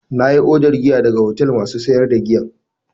Na yi odar giya daga hotel masu sayar da giyan.